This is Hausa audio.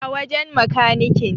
A wajen makanikin